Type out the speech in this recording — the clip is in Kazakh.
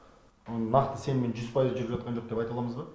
оны нақты сеніммен жүз пайыз жүріп жатқан жоқ деп айта аламыз ба